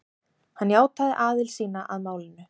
Hann játaði aðild sína að málinu